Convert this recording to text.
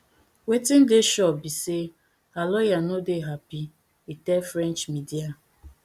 wetin dey sure be say her lawyer no dey happy e tell french media